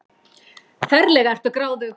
Ferlega ertu gráðug!